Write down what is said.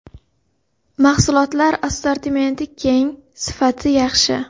Mahsulotlar assortimenti keng, sifati yaxshi.